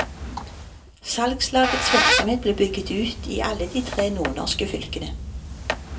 Salgslagets virksomhet ble bygget ut i alle de tre nordnorske fylkene.